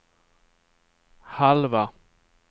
halva